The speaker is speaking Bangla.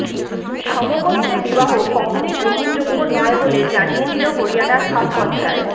সমগোত্রে বিবাহ কখনওই গ্রহণযোগ্য নয় বলে জানিয়ে দিল হরিয়ানার খাপ পঞ্চায়েত